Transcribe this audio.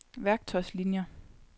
værktøjslinier